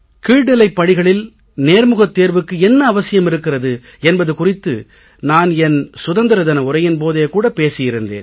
கீழ்நிலைப் பணிகளில் நேர்முகத் தேர்வுக்கு என்ன அவசியம் இருக்கிறது என்பது குறித்து நான் என் சுதந்திர தின உரையின் போதே கூட பேசியிருந்தேன்